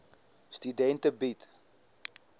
studente bied